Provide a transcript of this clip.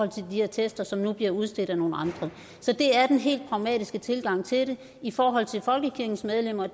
de her attester som nu bliver udstedt af nogle andre så det er den helt pragmatiske tilgang til det i forhold til folkekirkens medlemmer